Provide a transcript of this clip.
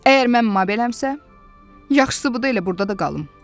Əgər mən məbələmsə, yaxşısı budur elə burda da qalım.